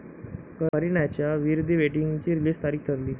करिनाच्या 'वीर दी वेडिंग'ची रिलीज तारीख ठरली